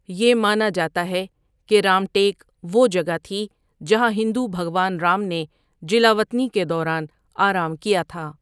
یہ مانا جاتا ہے کہ رام ٹیک وہ جگہ تھی جہاں ہندو بھگوان رام نے جلاوطنی کے دوران آرام کیا تھا۔